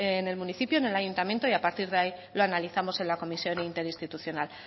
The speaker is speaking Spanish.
en el municipio en el ayuntamiento y a partir de ahí lo analizamos en la comisión interinstitucional